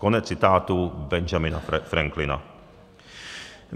Konec citátu Benjamina Franklina.